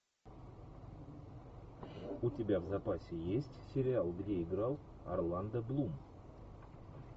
у тебя в запасе есть сериал где играл орландо блум